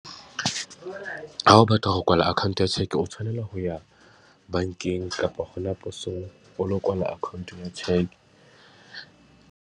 Ha o batla ho kwala account ya cheque, o tshwanela ho ya bankeng kapa hona posong, o lo kwala account ya cheque.